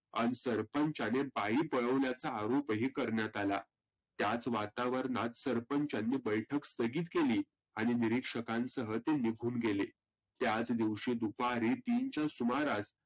सरपंचाने बाई पळवल्याचा आरोपही करण्यात आला. त्याच वातावरणात सरपंचानी बैठक स्थगीत केली आणि निरीक्षकासह ते निघुन गेले. त्याच दिवशी दुपारी तीनच्या सुमारास